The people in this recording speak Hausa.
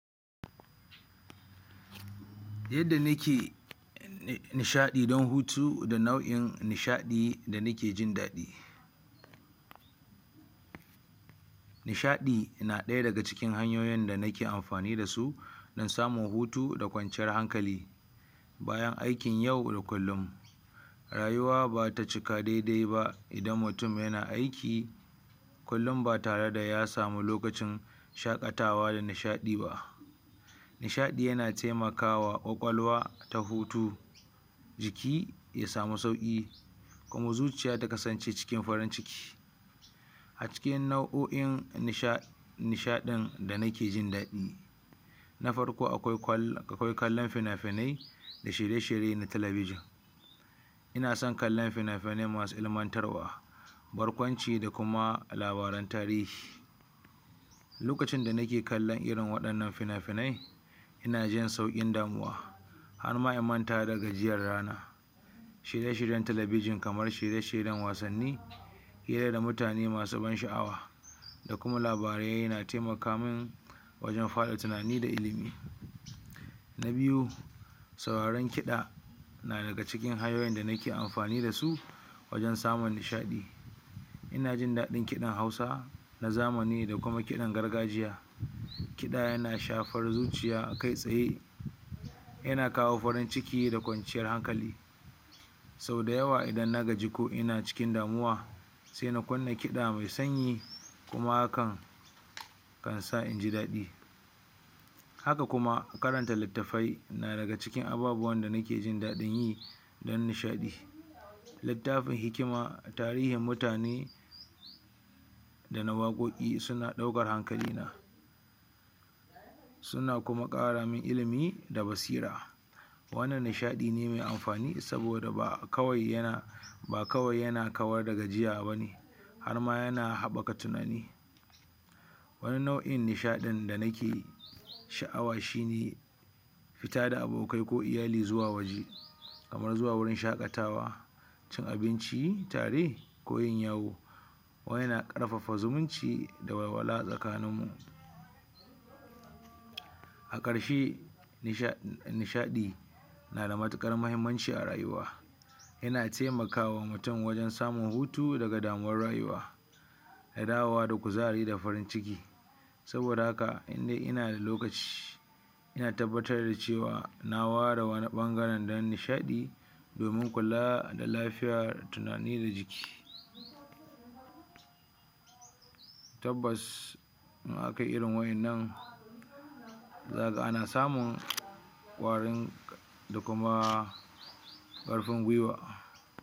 yadda nake nishaɗi don hutu da nau'in nishaɗi da nake jin daɗi nishaɗi na ɗaya daga cikin hanyoyin da nake amfani dasu don samun hutu da kwanciyan hankali yan aikin yau da kullun rayuwa bata cika daidai ba idan mutun yana aiki kullun ba tare da ya samu lokacin shaƙatawa da nishaɗi ba nishaɗi yana taimakawa ƙwaƙwalwa ta hutu jiki ya samu sauƙi kuma zuciya ta kasance cikin farin ciki a cikin nau'o'in nishaɗin da nake jin daɗi na farko akwai kwal akwai kallon finafinai da shirye shirye na talabijin ina son kallon finafinai masu ilmantarwa barkwanci da kuma labaran tarihi lokacin da nake kallon irin waɗannan finafinai ina jin sauƙin damuwa harma in manta da gajiyar ranar shirye shiryen talabijin kamar shirye shiryen wasanni hira da mutane masu ban sha'awa da kuma labarai yana taimakamin wajen faɗa tunani da ilimi na biyu sauraron kiɗa na daga cikin hanyoyin da nake amfani dasu wajen samun nishaɗi ina jin daɗin kiɗan hausa na zamani da kuma kiɗan gargajiya. kiɗa yana shafan zuciya kai tsaye yana kawo farin ciki da kwanciyar hankali. sau dayawa idan na gaji ko ina cikin damuwa sai na kunna kiɗa mai sanyi kuma hakan kan sa in ji daɗi. haka kuma karanta litaffai na daga cikin ababuwan da nake jin daɗin yi don nishaɗi littafin hikima, tarihin mutane da na waƙoƙi suna ɗaukar hankalina suna kuma ƙara min ilimi da basira wannan nishaɗi ne me amfani saboda ba kawai yana kawar da gajiya bane harma yana haɓɓaka tunani. wani nau'in nishaɗin da nake sha'awa shine fita da abokai ko iyali zuwa waje kamar zuwa wajen shaƙatawa cin abinci tare wurin yawo wannan yana ƙarfafa zumunci da walwala tsakanin mu a ƙarshe nishaɗi nada matuƙar mahimmanci a rayuwa yana taimakawa mutum wajen samun hutu daga damuwar rayuwa da dawow da kuzari da farin ciki. saboda haka indai inada lokaci ina tabbatar da cewa na ware wani ɓangare dan nisaɗi domin kula da lafiya, tunani da jiki. tabbas in akayi irin wa'innan zakaga ana samu kwari da kuma ƙarfin gwiwa.